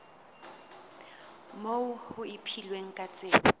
moo ho ipehilweng ka tsela